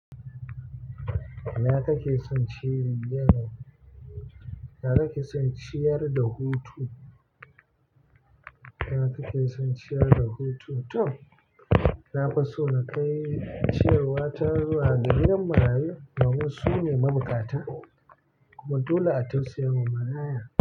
Nawa kake son ciyar da hutu? Nawa kake son ciyar da hutu? Toh, na fi so in kai ciyarwa ta zuwa ga gidan marayu, domin su ne mabuƙata kuma dole a tausaya ma maraya.